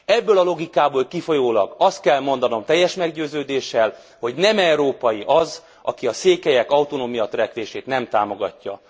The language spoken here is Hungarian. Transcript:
Ebből a logikából kifolyólag azt kell mondanom teljes meggyőződéssel, hogy nem európai az, aki a székelyek autonómia törekvését nem támogatja.